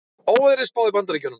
Óveðri spáð í Bandaríkjunum